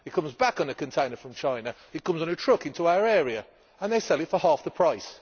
It comes back on a container from China, comes on a truck into our area and is sold for half the price.